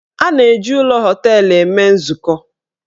A na-eji ụlọ họteelụ eme nzukọ.